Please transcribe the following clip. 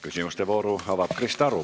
Küsimuste vooru avab Krista Aru.